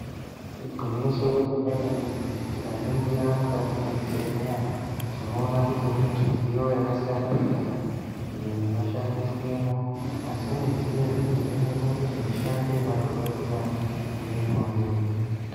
Igwinyiso remene-mene tikaningira mukati mwezvibhedhlera tinoona kuti mune midziyo yakasiyana-siyana, iyo inoshandiswemwo. Asi midziyo iyi inoita kuti mushando wema dhokodheya ive nyore.